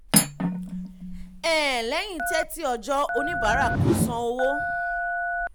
um lẹ́yìn thirty ọjọ́ oníbàárà kò san owó.